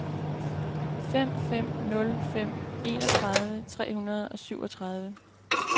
fem fem nul fem enogtredive tre hundrede og syvogtredive